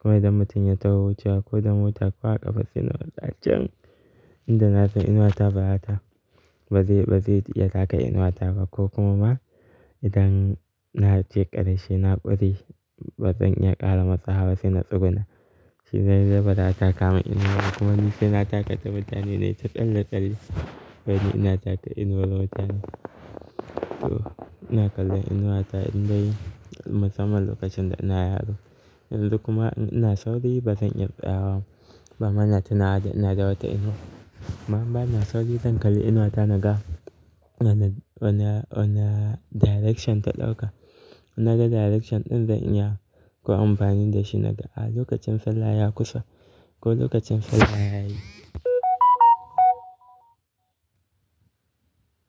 Kuma idan mutum ya taho wucewa ko da mota ko a ƙafa se na matsa can tunda nasan inuwa ta ba za ta, ba zai iya taka inuwa ta ba ko kuma ba idan na ce ƙarshe na ƙure ba zan iya ƙara matsawa ba sai na tsuguna. Shi dai zaa taka mun inuwa ba kuma ni sai na taka ta mutane nayi ta tsalle-tsalle wai ni ina taka inuwa wadansu to ina kallon inuwa ta indai musamman lokacin da ina yaro. Yanzu kuma in ina Sauri ba zan iya tsayawa ba, ba ma na tunawa da ina da wata inuwa. Amma in bana Saurii zan kalli inuwa ta naga wana direction ta ɗauka. Naga direction ɗin zan iya koyo amfani da shi naga lokacin sallah ya kusa ko lokacin sallah yayi.